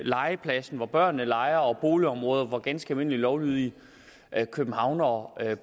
legepladsen hvor børnene leger og boligområder hvor ganske almindelige lovlydige københavnere